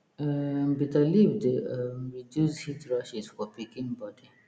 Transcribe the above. um bitter leaf dey um reduce heat rashes for pikin body